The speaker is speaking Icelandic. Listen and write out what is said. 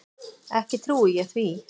Ekki trúi ég því.